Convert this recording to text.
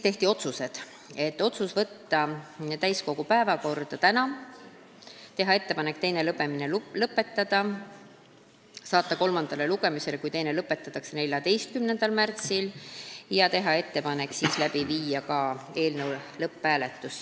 Tehti ka otsused: võtta eelnõu täiskogu päevakorda tänaseks, teha ettepanek teine lugemine lõpetada, saata eelnõu kolmandale lugemisele, kui teine lõpetatakse, 14. märtsiks ja viia siis läbi ka eelnõu lõpphääletus.